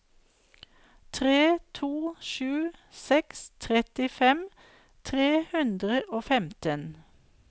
tre to sju seks trettifem tre hundre og femten